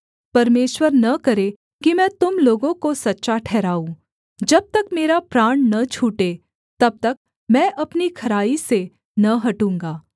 परमेश्वर न करे कि मैं तुम लोगों को सच्चा ठहराऊँ जब तक मेरा प्राण न छूटे तब तक मैं अपनी खराई से न हटूँगा